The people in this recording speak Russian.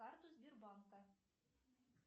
карту сбербанка